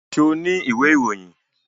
Ṣo ní ìwé ìròyìn?